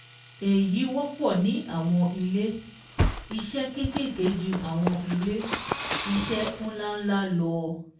Èyí wọ́pọ̀ ní àwọn ilé-iṣẹ́ kékèké ju àwọn ilé-iṣẹ́ ńláńlá lọ